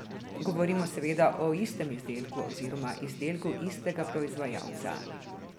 Govorimo seveda o istem izdelku oziroma izdelku istega proizvajalca.